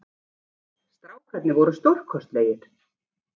Strákarnir voru stórkostlegir